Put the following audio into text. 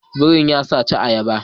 Biri ya saci ayaba